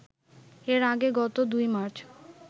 এর আগে গত ২ মার্চ